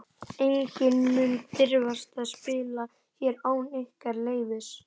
Enginn mun dirfast að spila hér án ykkar leyfis.